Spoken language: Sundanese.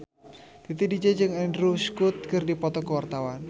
Titi DJ jeung Andrew Scott keur dipoto ku wartawan